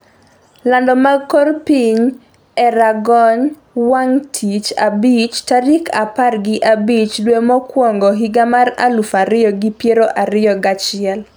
lando mag kor piny e rang'ong wang' tich abich tarik apar gi abich dwe mokwongo higa mar aluf ariyo gi piero ariyo gachiel